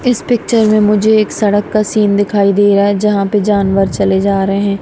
इस पिक्चर में मुझे एक सड़क का सीन दिखाई दे रहा है जहां पे जानवर चले जा रहे हैं।